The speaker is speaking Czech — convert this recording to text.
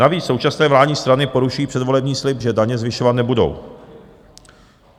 Navíc současné vládní strany porušují předvolební slib, že daně zvyšovat nebudou.